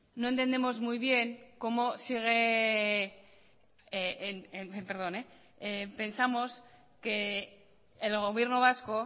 no entendemos muy bien cómo sigue perdón pensamos que el gobierno vasco